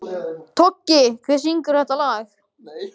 Toggi, hver syngur þetta lag?